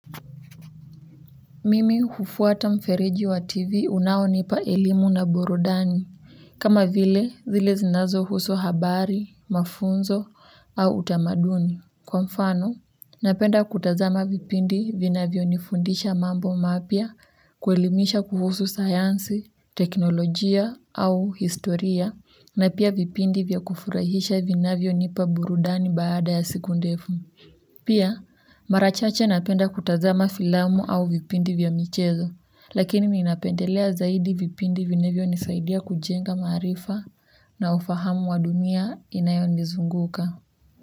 Mimi hufuata mfereji wa TV unaonipa elimu na burudani kama vile, zile zinazohusu habari, mafunzo, au utamaduni. Kwa mfano, napenda kutazama vipindi vinavyo nifundisha mambo mapya, kuelimisha kuhusu sayansi, teknolojia, au historia, na pia vipindi vya kufurahisha vinavyonipa burudani baada ya siku ndefu. Pia mara chache napenda kutazama filamu au vipindi vya michezo, lakini ninapendelea zaidi vipindi vinavyo nisaidia kujenga maarifa, na ufahamu wa dunia, inayo nizunguka.